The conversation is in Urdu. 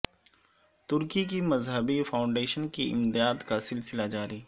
ترکی کی مذہبی فاونڈیشن کی امداد کا سلسلہ جاری